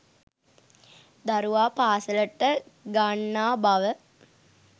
දරුවා පාසලට ගන්නා බව